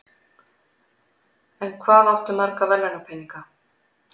En hvað áttu marga verðlaunapeninga?